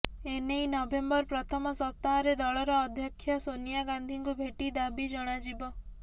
ଏ ନେଇ ନଭେମ୍ବର ପ୍ରଥମ ସପ୍ତାହରେ ଦଳର ଅଧ୍ୟକ୍ଷା ସୋନିଆ ଗାନ୍ଧିଙ୍କୁ ଭେଟି ଦାବି ଜଣାଯିବ